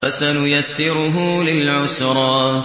فَسَنُيَسِّرُهُ لِلْعُسْرَىٰ